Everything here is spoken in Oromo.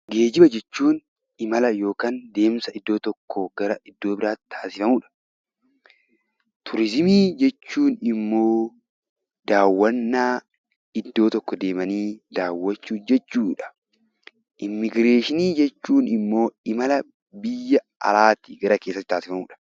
Geejjiba jechuun deemsa yookiin imala iddoo tokkoo gara iddoo biraatti taasifamudha. Turizimii jechuun immoo daawwannaa iddoo tokko deemanii daawwachuu jechuudha. Immiigireeshinii jechuun ammoo imala biyya alaatii gara keessaatti taasifamudha.